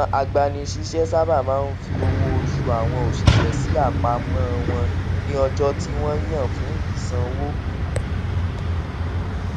àwọn agbanisiṣẹ sábà máa ń fi owó òṣù àwọn oṣiṣẹ sí àpamọ wọn ní ọjọ tí wọn yàn fún ìsanwó